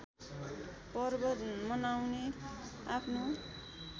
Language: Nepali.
पर्व मनाउने आआफ्नो